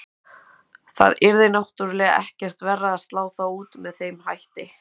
Það yrði náttúrulega ekkert verra að slá þá út með þeim hætti.